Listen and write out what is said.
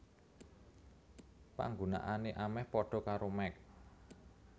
Panggunaané amèh padha karo Mac